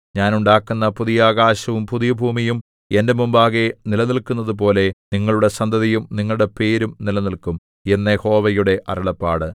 ഞാൻ ഉണ്ടാക്കുന്ന പുതിയ ആകാശവും പുതിയ ഭൂമിയും എന്റെ മുമ്പാകെ നിലനില്‍ക്കുന്നതുപോലെ നിങ്ങളുടെ സന്തതിയും നിങ്ങളുടെ പേരും നിലനില്ക്കും എന്നു യഹോവയുടെ അരുളപ്പാട്